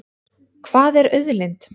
Hvað er auðlind?